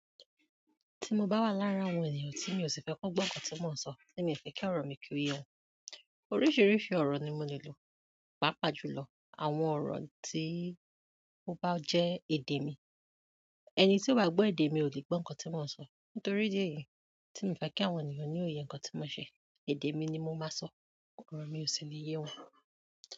Tí mo bá wà larin àwọn ènìyàn tí mi ò sì fẹ́ kọ́ gbọ́ nǹkan tí mò ń sọ, tí mi fẹ́ kí ọ̀rọ̀ mi kí o yé won, oríṣiríṣi ọ̀rọ̀ ni mo le lò. Papa jùlọ, àwọn oro ti o ba je èdè mi ẹni tí ò gbọ́ èdè mi ò lè gbọ́ nǹkan tí mò ń sọ. Nítorí dí eyì tí mi fẹ́ kí àwọn ènìyàn ni ó yé nǹkan tí mò ń ṣe, èdè mi ni mo máa sọ, ọ̀rọ̀ mi ò sì ní yé wọn.